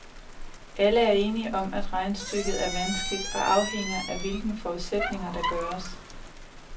Alle er enige om, at regnestykket er vanskeligt og afhænger af hvilke forudsætninger, der gøres.